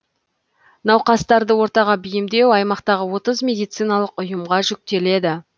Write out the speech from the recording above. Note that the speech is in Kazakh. науқастарды ортаға бейімдеу аймақтағы отыз медициналық ұйымға жүктеледі